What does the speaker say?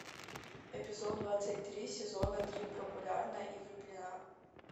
эпизод двадцать три сезона три популярна и влюблена